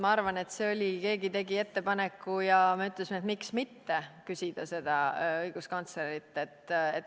Ma arvan, et keegi tegi ettepaneku ja meie ütlesime, et miks mitte küsida seda õiguskantslerilt.